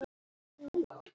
Dóra kenndi mér svo margt.